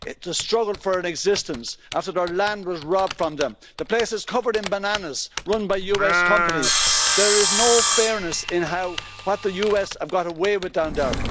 It's a struggle for an existence after their land was robbed from them. The place is covered in bananas run by US companies. There is no fairness in what the US have got away with down there.